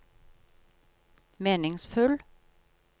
meningsfull